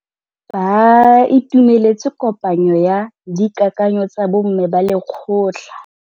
Ba itumeletse kôpanyo ya dikakanyô tsa bo mme ba lekgotla.